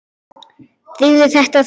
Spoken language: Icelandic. Drífðu þetta þá í þig.